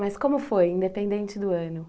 Mas como foi, independente do ano?